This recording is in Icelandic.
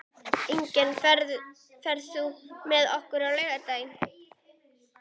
Irene, ferð þú með okkur á laugardaginn?